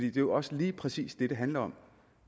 er jo også lige præcis det det handler om